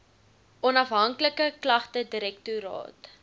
onafhanklike klagte direktoraat